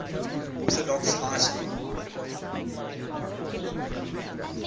orthodox high schools